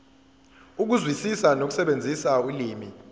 ukuzwisisa nokusebenzisa ulimi